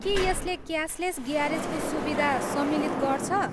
के यसले क्यासलेस ग्यारेजको सुविधा सम्मिलित गर्छ?